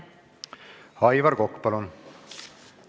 Aivar Kokk, palun!